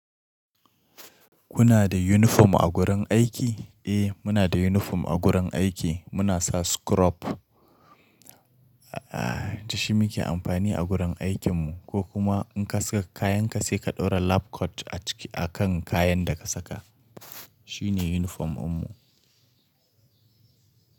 Kuna da yunifom a gurin aiki? Eh, muna da uniform a gurin aiki. Muna sa scrub, eh, da shi muke amfani a gurin aikinmu ko kuma in ka saka kayanka sai ka ɗora lab coat, a kan kayan da ka saka. Shi ne uniform din mu.